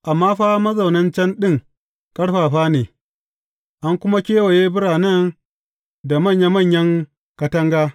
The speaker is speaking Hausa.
Amma fa mazaunan can ɗin ƙarfafa ne, an kuma kewaye biranen da manya manyan katanga.